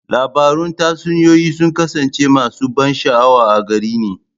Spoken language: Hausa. Labarun tatsuniyoyi sun kasance masu ban sha'awa a gare ni.